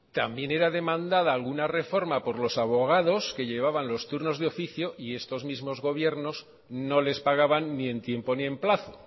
también era demandada alguna reforma por los abogados que llevaban los turnos de oficio y estos mismos gobiernos no les pagaban ni en tiempo ni en plazo